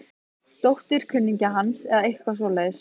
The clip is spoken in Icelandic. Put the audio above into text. Dóttir kunningja hans eða eitthvað svoleiðis.